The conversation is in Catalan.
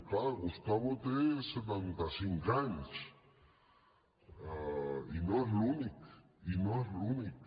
clar gustavo té setanta cinc anys i no és l’únic i no és l’únic